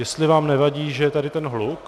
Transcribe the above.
Jestli vám nevadí, že je tady ten hluk?